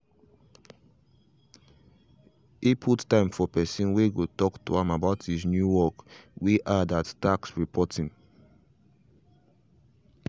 he put time for person way go talk to am about his new work way add at tax reporting.